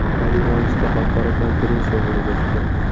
Oliy Majlisda xalqaro konferensiya bo‘lib o‘tdi.